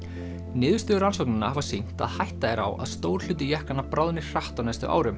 niðurstöður rannsóknanna hafa sýnt að hætta er á stór hluti jöklanna bráðni hratt á næstu árum